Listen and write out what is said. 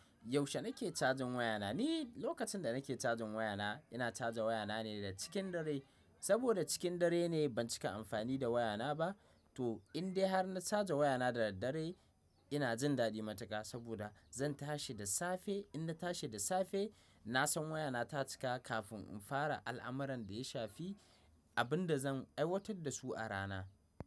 Yaushe nake cajin wayana? Ni lokacin da nake cajin wayana, ina caja wayana ne da cikin dare. Saboda cikin dare ne ban cika amfani da wayana ba. To indai har na caja wayana da daddare ina jin dadi matuka saboda zan tashi da safe. In na tashi da safe, na san wayana ta cika kafin in fara al'amuran da ya shafi abin da zan aiwatar da su a rana.